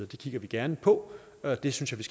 det kigger vi gerne på og det synes jeg